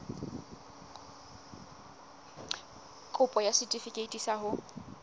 kopo ya setefikeiti sa ho